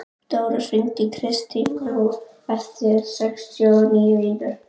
Dóra, hringdu í Kristmundínu eftir sextíu og níu mínútur.